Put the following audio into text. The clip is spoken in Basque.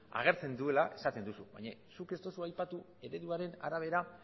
agertzen dituela esaten duzu baina zuk ez duzu aipatu ereduaren arabera